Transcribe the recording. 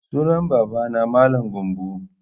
Sunan baba na Mallam Gambo